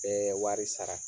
Bɛɛ wari sara.